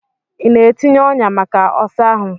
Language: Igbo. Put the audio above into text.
Ị na-etinye ọnyà maka ọsa ahụ?